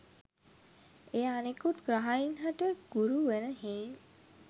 එය අනෙකුත් ග්‍රහයින් හට ගුරු වන හෙයින්